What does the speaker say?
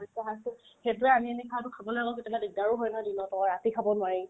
দুটা সেইটোয়ে আমি আনি খাৱাতো খাবই নালাগে কেতিয়াবা দিকদাৰো হয় ন যিবিলাকে ধৰা ৰাতি খাব নোৱাৰে